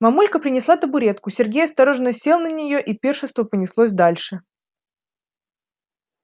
мамулька принесла табуретку сергей осторожно сел на неё и пиршество понеслось дальше